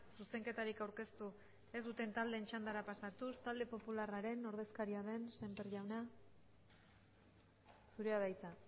zuzenketarik aurkeztu ez duten taldeen txandara pasatuz talde popularraren ordezkaria den sémper jauna zurea da hitza